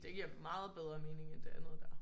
Det giver meget bedre mening end det andet der